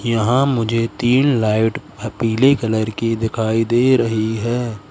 यहाँ मुझे तीन लाइट ह पीले कलर कि दिखाई दे रही हैं।